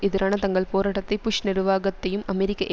எதிரான தங்கள் போராட்டத்தை புஷ் நிர்வாகத்தையும் அமெரிக்க